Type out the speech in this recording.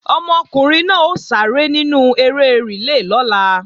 Ọmọkùnrin náà ó sáré nínú eré rìlé lọ́la